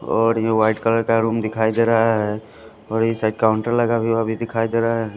और ये white colour का रुम दिखाई दे रहा है और इस साइड काउंटर लगा हुआ भी दिखाई दे रहा है।